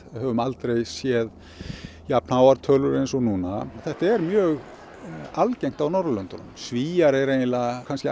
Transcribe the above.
höfum aldrei séð jafn háar tölur eins og núna þetta er mjög algengt á Norðurlöndunum Svíar eru kannski